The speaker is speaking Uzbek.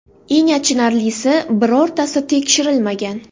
Eng achinarlisi, birortasi tekshirilmagan.